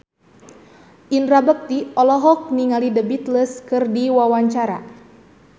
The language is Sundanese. Indra Bekti olohok ningali The Beatles keur diwawancara